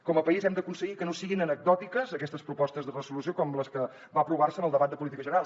com a país hem d’aconseguir que no siguin anecdòtiques aquestes propostes de resolució com les que van aprovar se en el debat de política general